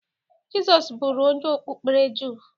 Jịsọs bụru onye okpukpere jụụ.